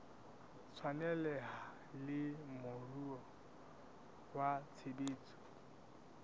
tshwaneleha le moruo wa tshebetso